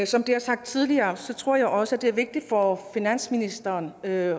som det er sagt tidligere tror jeg også det er vigtigt for finansministeren at